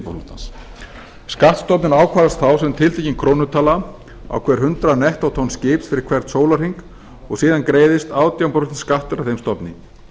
skipaflotans skattstofninn ákvarðast þá sem tiltekin krónutala á hver hundrað nettótonn skips fyrir hvern sólarhring og síðan greiðist átján prósent skattur af þeim stofni